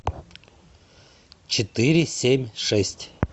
четыре семь шесть